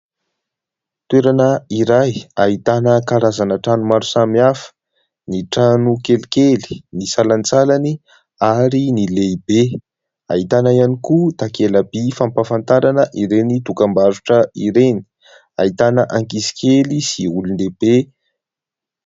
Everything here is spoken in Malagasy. Toerana iray ahitana karazana trano maro samihafa : ny trano kelikely, ny salantsalany ary ny lehibe ; ahitana ihany koa takela-by fahampahafantarana ireny dokam-barotra ireny, ahitana ankizy kely sy olondehibe.